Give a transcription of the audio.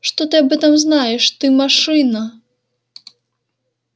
что ты об этом знаешь ты машина